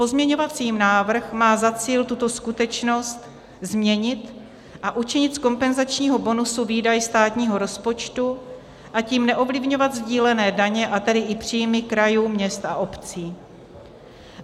Pozměňovací návrh má za cíl tuto skutečnost změnit a učinit z kompenzačního bonusu výdaj státního rozpočtu, a tím neovlivňovat sdílené daně, a tedy i příjmy krajů, měst a obcí.